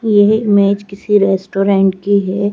यह इमेज किसी रेस्टोरेंट की है।